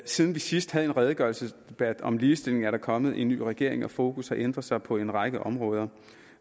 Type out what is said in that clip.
siden vi sidst havde en redegørelsesdebat om ligestilling er der kommet en ny regering og fokus har ændret sig på en række områder